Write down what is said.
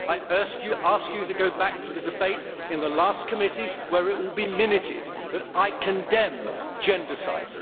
I ask you to go back to the debate in the last committee where it will be minuted that I condemn gendercide.